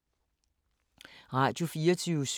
Radio24syv